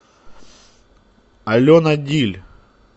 алена диль